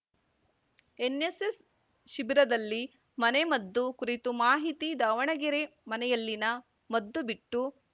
NSS ಶಿಬಿರದಲ್ಲಿ ಮನೆ ಮದ್ದು ಕುರಿತು ಮಾಹಿತಿ ದಾವಣಗೆರೆ ಮನೆಯಲ್ಲಿನ ಮದ್ದು ಬಿಟ್ಟು